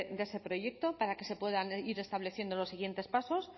de ese proyecto para que se puedan ir estableciendo los siguientes pasos